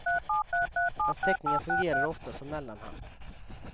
Hans teckningar fungerade ofta som mellanhand.